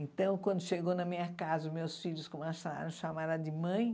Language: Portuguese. Então, quando chegou na minha casa, os meus filhos começaram a chamar ela de mãe.